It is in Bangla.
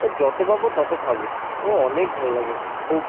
ও যত পাবো তত খাবো ও অনেক ভাল্লাগে খুব।